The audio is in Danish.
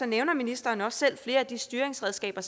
nævner ministeren også selv flere af de styringsredskaber